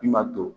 I ma to